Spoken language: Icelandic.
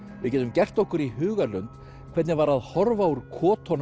við getum gert okkur í hugarlund hvernig var að horfa úr